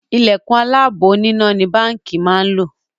Ìlẹ̀kùn aláàbò oníná ni Báńkì máa ń lò